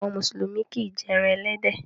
Àwọn Mùsùlùmí kì í jẹ ẹran ẹlẹ́dẹ̀